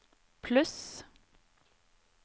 pluss